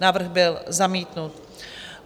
Návrh byl zamítnut.